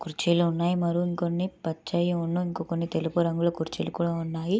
కుచ్చిళ్లు ఉన్నాయి మరికొన్ని పచ్చనివి ఇంకొన్ని తెలుపు రంగు కుర్చీలు కూడా ఉన్నాయి.